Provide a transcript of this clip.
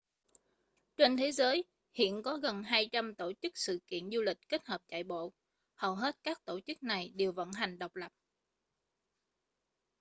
trên thế giới hiện có gần 200 tổ chức sự kiện du lịch kết hợp chạy bộ hầu hết các tổ chức này đều vận hành độc lập